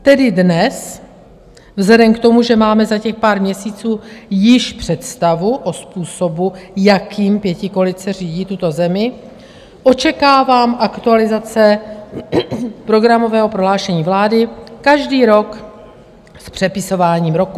Tedy dnes vzhledem k tomu, že máme za těch pár měsíců již představu o způsobu, jakým pětikoalice řídí tuto zemi, očekávám aktualizace programového prohlášení vlády každý rok s přepisováním roku.